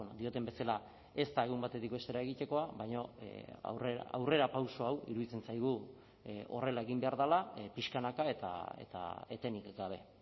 dioten bezala ez da egun batetik bestera egitekoa baina aurrerapauso hau iruditzen zaigu horrela egin behar dela pixkanaka eta etenik gabe